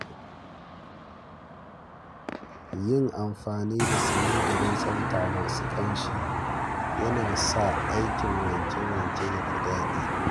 Yin amfani da sinadaran tsafta masu ƙamshi yana sa aikin wanke-wanke ya fi dadi.